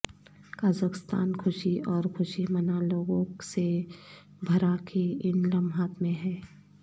Kazakhstan خوشی اور خوشی منا لوگوں سے بھرا کے ان لمحات میں ہے